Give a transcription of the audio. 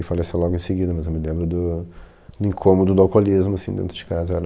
E faleceu logo em seguida, mas eu me lembro do do incômodo do alcoolismo, assim, dentro de casa era